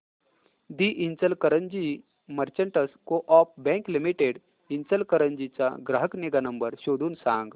दि Ichalkaranji merchants co-op bank limited Ichalkaranji चा ग्राहक निगा नंबर शोधून सांग